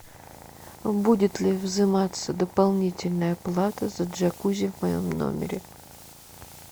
будет ли взиматься дополнительная плата за джакузи в моем номере